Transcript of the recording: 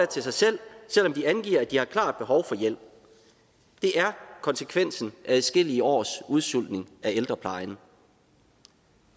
til sig selv selv om de angiver at de har klart behov for hjælp det er konsekvensen af adskillige års udsultning af ældreplejen